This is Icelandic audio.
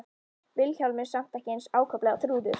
Vilhjálmur samt ekki eins ákaflega og Þrúður.